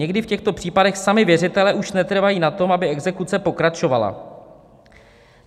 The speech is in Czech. Někdy v těchto případech sami věřitelé už netrvají na tom, aby exekuce pokračovala.